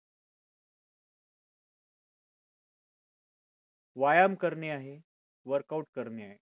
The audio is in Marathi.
व्यायाम करणे आहे. workout करणे आहे